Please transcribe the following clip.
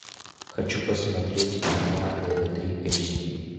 хочу посмотреть канал тв три эйч ди